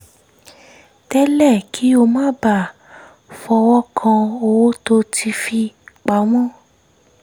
tẹ́lẹ̀ kí ó má bàa fọwọ́ kan owó tó ti fi pa mọ́